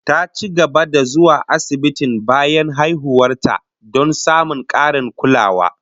Ta ci gaba da zuwa asibitin bayan haihuwar ta, don samun karin kulawa